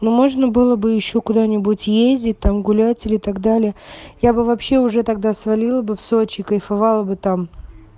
ну можно было бы ещё куда-нибудь ездить там гулять или так далее я бы вообще уже тогда свалила бы в сочи кайфовала бы там